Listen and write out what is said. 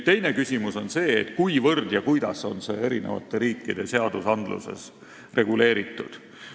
Teine küsimus on see, kuivõrd ja kuidas on see eri riikide seadustes reguleeritud.